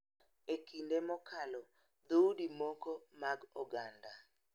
E kinde mokalo, dhoudi moko mag oganda�